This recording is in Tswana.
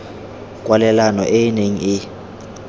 kwalelano e e neng e